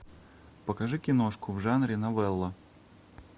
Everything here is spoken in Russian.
покажи киношку в жанре новелла